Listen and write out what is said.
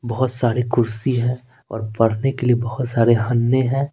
बहुत सारी कुर्सी हैऔर पढ़ने के लिए बहुत सारे हन्ने हैं।